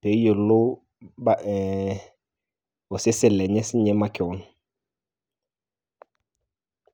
peyiolou ba ,ee osesen lenye makewon .